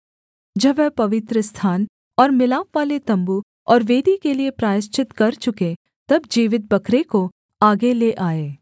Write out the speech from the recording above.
जब वह पवित्रस्थान और मिलापवाले तम्बू और वेदी के लिये प्रायश्चित कर चुके तब जीवित बकरे को आगे ले आए